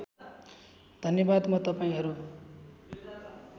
धन्यवाद म तपाईँहरू